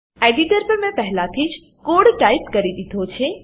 editor પર મેં પહેલાથી જ કોડ ટાઈપ કરી દીધો છે